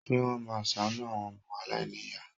Ṣé wọ́n máa ṣàánú àwọn ọmọ aláìníyàá?